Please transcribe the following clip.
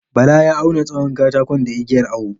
Bala ya auwna tsawon katakon da igiyar awo.